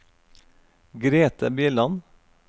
Grethe Bjelland